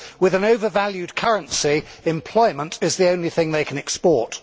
With an overvalued currency, employment is the only thing they can export.